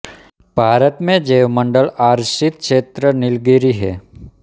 भारत मे जैव मंडल आरचित छेत्र नीलगिरी है